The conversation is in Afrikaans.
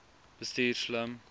bestuur slim